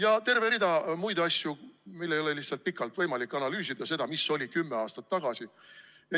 On terve rida muid asju, mida mul ei ole lihtsalt võimalik pikalt analüüsida, mis kümme aastat tagasi oli.